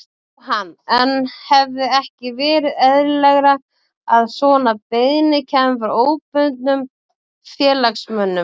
Jóhann: En hefði ekki verið eðlilegra að svona beiðni kæmi frá óbundnum félagsmönnum?